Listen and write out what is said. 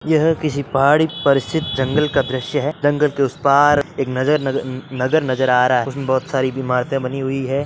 यह किसी पहाड़ी पर स्थित जंगल का दृश्य है जंगल के उस पार एक नजर नग नगर नजर आ रहा है उसमें बहुत साड़ी इमारतें बानी हुई हैं।